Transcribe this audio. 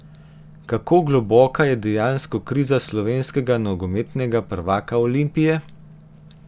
Kako globoka je dejansko kriza slovenskega nogometnega prvaka Olimpije?